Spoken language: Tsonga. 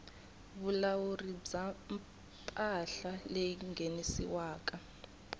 vulawuri bya mpahla leyi nghenisiwaku